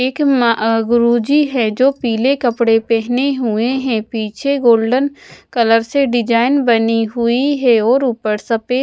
एक म अ गुरुजी है जो पीले कपड़े पहने हुए हैं पीछे गोल्डन कलर से डिजाइन बनी हुई है और ऊपर सफेद--